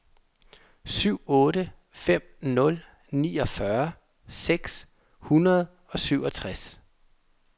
syv otte fem nul niogfyrre seks hundrede og syvogtres